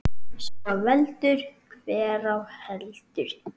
Svo veldur hver á heldur.